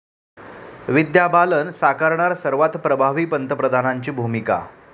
विद्या बालन साकारणार सर्वात प्रभावी पंतप्रधानांची भूमिका